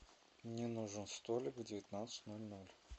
мне нужен столик в девятнадцать ноль ноль